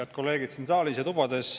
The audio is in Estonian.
Head kolleegid siin saalis ja tubades!